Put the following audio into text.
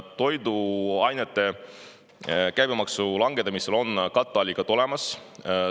Toiduainete käibemaksu langetamisele on katteallikad olemas.